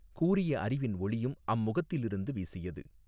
கூரிய அறிவின் ஒளியும் அம்முகத்திலிருந்து வீசியது.